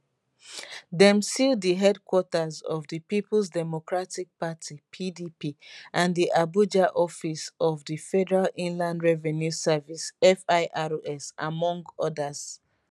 dem seal di headquarters of di peoples democratic party pdp and di abuja office of di federal inland revenue service firs among odas